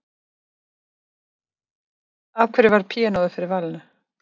Af hverju varð píanóið fyrir valinu?